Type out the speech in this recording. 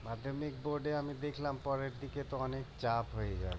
মাধ্যমিক বোর্ডে আমি দেখলাম পরের দিকে তো অনেক চাপ হয়ে যায়